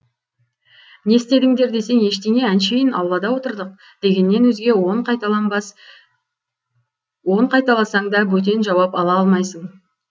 не істедіңдер десең ештеңе әншейін аулада отырдық дегеннен өзге он қайталасаң да бөтен жауап ала алмайсың